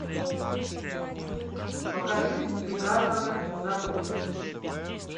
покажи приказано забыть